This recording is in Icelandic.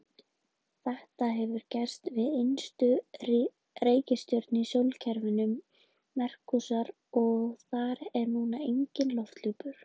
Þetta hefur gerst við innstu reikistjörnuna í sólkerfinu, Merkúríus, og þar er núna enginn lofthjúpur.